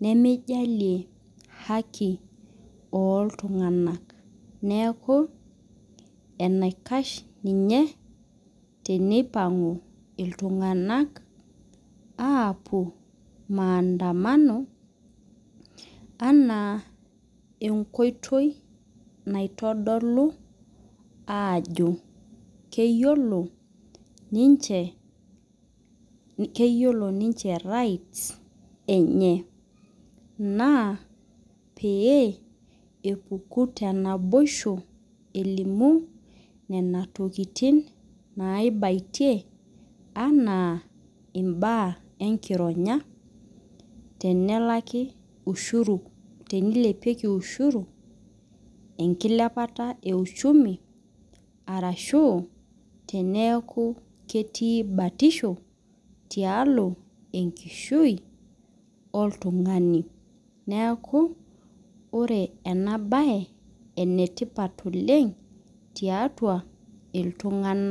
nemeijalie haki oltunganak neaku enikash tenipangu ltunganak apuo maandamano anaa enkoitoi naitodolu ajo keyiolo ninche keyiolo ninche right s enye pepuku tenaboisho elimu nona tokitin naibayie anaa imbaa enkironya tenilepieki ushuru enkilepara e uchumu ashu tenaaku ketii batisho tiatua oltungani neaku ore enabae na enetipat oleng tiatua ltunganak.